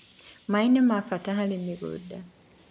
maĩ nĩmabata harĩ mũgũnda